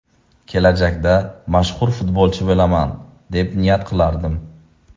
Kelajakda mashhur futbolchi bo‘laman, deb niyat qilardim.